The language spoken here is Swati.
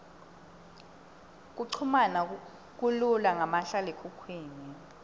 kuchumana kulula ngamahlalekhukhwini